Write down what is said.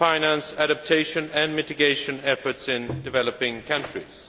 how to finance adaptation and mitigation efforts in developing countries.